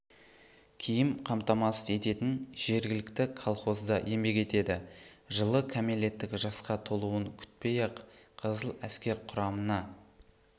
киім қамтамасыз ететін жергілікті колхозда еңбек етеді жылы кәмелеттік жасқа толуын күтпей-ақ қызыл әскер құрамына